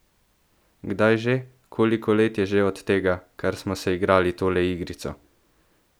Kdaj že, koliko let je že od tega, kar smo se igrali tole igrico?